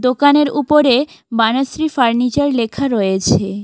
দোকানের উপরে বানাশ্রী ফার্নিচার লেখা রয়েছে।